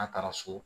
N'a taara so